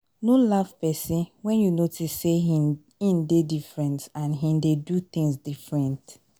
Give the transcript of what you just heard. no laugh person when you notice sey im dey different and im dey do things different